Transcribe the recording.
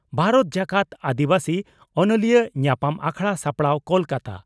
ᱵᱷᱟᱨᱚᱛ ᱡᱟᱠᱟᱛ ᱟᱹᱫᱤᱵᱟᱹᱥᱤ ᱚᱱᱚᱞᱤᱭᱟᱹ ᱧᱟᱯᱟᱢ ᱟᱠᱷᱲᱟ ᱥᱟᱯᱲᱟᱣ ᱠᱚᱞᱠᱟᱛᱟ